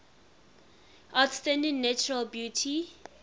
outstanding natural beauty